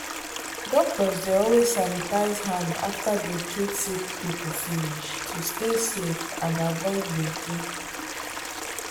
doctors dey always sanitize hand after dey treat sick people finish to stay safe and avoid gbege.